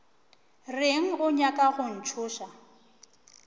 reng o nyaka go ntšhoša